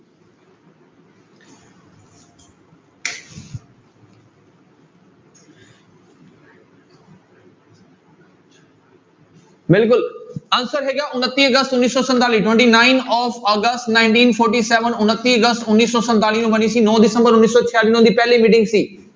ਬਿਲਕੁਲ answer ਹੈਗਾ ਉਣੱਤੀ ਅਗਸਤ ਉੱਨੀ ਸੌ ਸੰਤਾਲੀ twenty nine of ਅਗਸਤ nineteen forty seven ਉਣੱਤੀ ਅਗਸਤ ਉੱਨੀ ਸੌ ਸੰਤਾਲੀ ਨੂੰ ਬਣੀ ਸੀ, ਨੋਂ ਦਸੰਬਰ ਉੱਨੀ ਸੌ ਛਿਆਲੀ ਨੂੰ ਇਹਦੀ ਪਹਿਲੀ meeting ਸੀ।